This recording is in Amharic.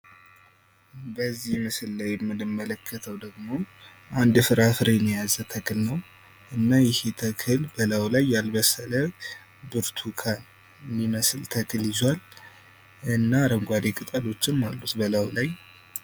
በዚህ ላይ የምንመለከተው ደግሞ አንድን ፍራፍሬ የያዘን ተክል እና ይሄ ተክል በላይው ላይ ያልበሰለ ብርቱካን የሚመስል ተክል ይዞዋል እና አረንጓዴ ይዞዋል እና አረንጓዴ ቅጠሎችን አሉት በላዩ ላይ